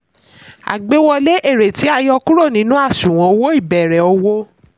àgbéwọlé: èrè tí a yọ kúrò nínú àṣùwọ̀n owó ìbẹ̀rẹ̀ òwò.